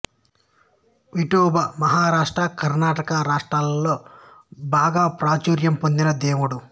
విఠోభా మహారాష్ట్ర కర్ణాటక రాష్ట్రాల్లో బాగా ప్రాచుర్యం పొందిన దేవుడు